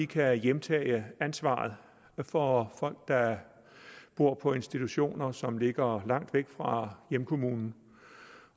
kan hjemtage ansvaret for folk der bor på institutioner som ligger langt væk fra hjemkommunen